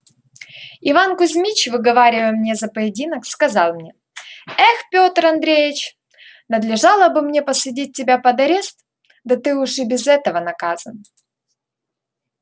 иван кузмич выговаривая мне за поединок сказал мне эх пётр андреич надлежало бы мне посадить тебя под арест да ты уж и без этого наказан